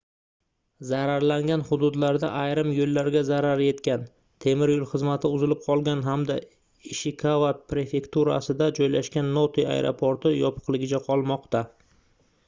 zararlangan hududlarda ayrim yoʻllarga zarar yetgan temir yoʻl xizmati uzilib qolgan hamda ishikava prefekturasida joylashgan note aeroporti yopiqligicha qolmoqda